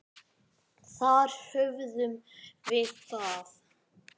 Þar höfðum við það.